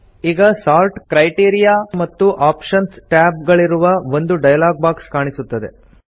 ಈಗ sort criteria ಮತ್ತು options tab ಗಳಿರುವ ಒಂದು ಡೈಲಾಗ್ ಬಾಕ್ಸ್ ಕಾಣಿಸುತ್ತದೆ